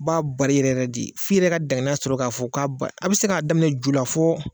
A b'a bari yɛrɛ yɛrɛ de, f'i yɛrɛ ka dankaniya sɔrɔ k'a fɔ k'a a ba a bɛ se k'a daminɛ ju la fo